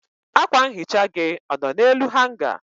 akwa nhicha gị ọ nọ n'elu hanga?